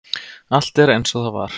Allt er eins og það var.